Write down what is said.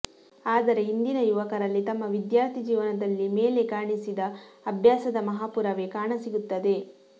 ಆದರೆ ಇಂದಿನ ಯುವಕರಲ್ಲಿ ತಮ್ಮ ವಿಧ್ಯಾರ್ಥಿ ಜೀವನದಲ್ಲಿ ಮೇಲೆ ಕಾಣಿಸಿದ ಅಭ್ಯಾಸದ ಮಾಹಾಪುರವೇ ಕಾಣಸಿಗುತ್ತದೆ